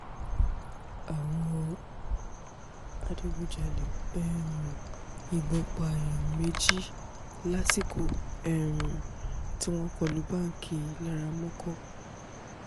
àwọn adigunjalè um yìnbọn pa èèyàn méjì lásìkò um tí wọ́n kọ lu báńkì laramọ́kọ̀